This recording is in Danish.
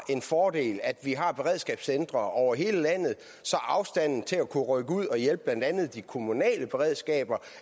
er en fordel at vi har beredskabscentre over hele landet så afstanden til at kunne rykke ud og hjælpe blandt andet de kommunale beredskaber